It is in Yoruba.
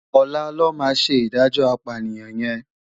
Òlá lò má sé idájò ápániyan yèn